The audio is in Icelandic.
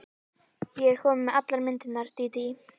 Ég er komin með allar myndirnar, Dídí.